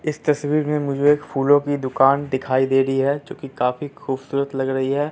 इस तस्वीर में मुझे एक फूलों की दुकान दिखाई दे रही है जो कि काफी खूबसूरत लग रही है।